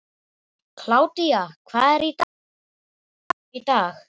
Kládía, hvað er á dagatalinu mínu í dag?